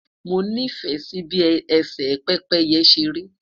mo ni fẹ Si bi ese pépéye seri